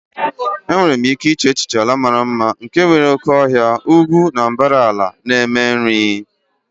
Enwere m ike iche n'echiche ala mara mma nke nwere oke ọhịa, ugwu ugwu na mbara ala na-eme nri.